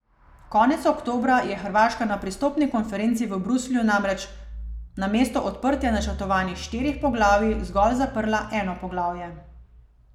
Konec oktobra je Hrvaška na pristopni konferenci v Bruslju namreč namesto odprtja načrtovanih štirih poglavij zgolj zaprla eno poglavje.